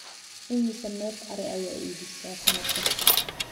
imise neef ari ayaa iibisaa sanad kasta